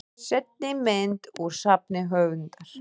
Seinni mynd: Úr safni höfundar.